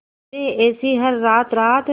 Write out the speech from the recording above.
गुजरे ऐसी हर रात रात